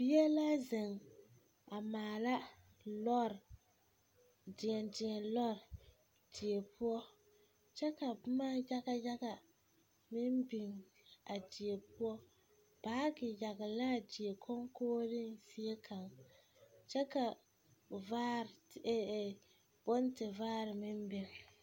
Bie la zeŋ a maala lɔre deɛdeɛlɔre die poɔ kyɛ ka boma yaga yaga meŋ biŋ a die poɔ baage yagle la a die konkogriŋ zie kaŋ kyɛ ka vaare e e bontevaare meŋ biŋ.